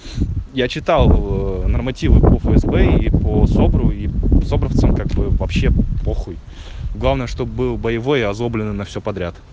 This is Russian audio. я читал нормативы по фсб и по собру и собровцам как бы вообще похуй главное чтобы был боевой и озлобленный на все подряд